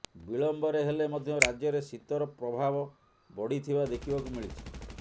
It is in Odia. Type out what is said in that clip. ବିଳମ୍ବରେ ହେଲେ ମଧ୍ୟ ରାଜ୍ୟରେ ଶୀତର ପ୍ରଭାବ ବଢିଥିବା ଦେଖିବାକୁ ମିଳିଛି